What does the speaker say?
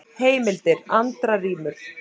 Heimildir: Andra rímur.